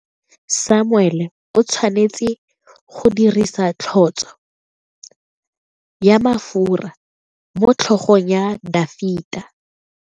Samuele o tshwanetse go dirisa tlotso ya mafura motlhogong ya Dafita.